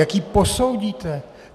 Jak ji posoudíte?